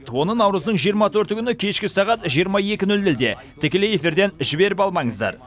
оны наурыздың жиырма төрті күні кешкі сағат жиырма екі нөл нөлде тікелей эфирден жіберіп алмаңыздар